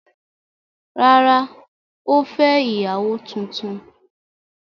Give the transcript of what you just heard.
Rárá, ó fẹ́ ìyàwó tuntun.